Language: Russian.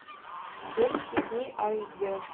дерзкие дни аш д